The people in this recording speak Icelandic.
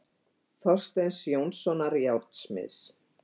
Þorsteins Jónssonar járnsmiðs.